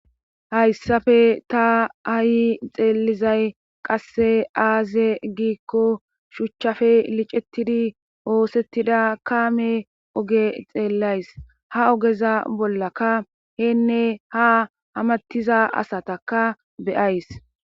Hayssafe ta ayi xeelizay qasse aaze giikko shuchchafe licettidi oosettida kaame oge xeellays ha ogeza bollaka heenne ha hamattiza asataka be7ays.